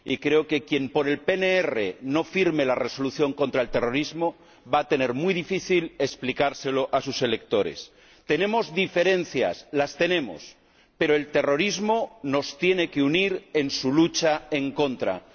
Y creo que quien por el PNR no firme la Resolución contra el terrorismo va a tener muy difícil explicárselo a sus electores. Tenemos diferencias, las tenemos, pero el terrorismo nos tiene que unir en la lucha contra él.